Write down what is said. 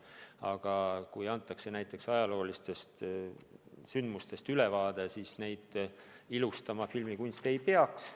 Aga kui antakse ülevaade näiteks ajaloolistest sündmustest, siis neid ilustama filmikunst ei peaks.